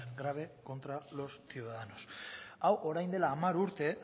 grave contra los ciudadanos hau orain dela hamar urte